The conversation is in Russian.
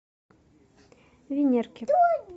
венерке